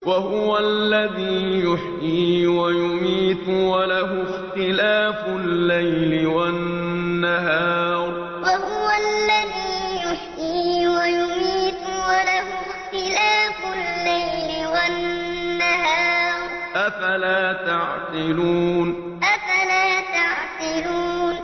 وَهُوَ الَّذِي يُحْيِي وَيُمِيتُ وَلَهُ اخْتِلَافُ اللَّيْلِ وَالنَّهَارِ ۚ أَفَلَا تَعْقِلُونَ وَهُوَ الَّذِي يُحْيِي وَيُمِيتُ وَلَهُ اخْتِلَافُ اللَّيْلِ وَالنَّهَارِ ۚ أَفَلَا تَعْقِلُونَ